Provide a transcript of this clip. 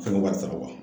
Fɛn wari sara wa